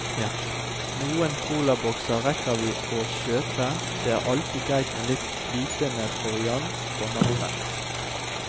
Noen colabokser rekker vi å kjøpe, det er alltid greit med litt flytende proviant for natten.